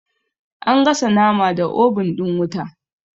Ana gasa nama da obun ɗin wuta